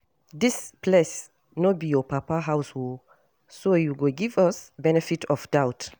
Dis place no be your papa house oo so you go give us benefit of doubt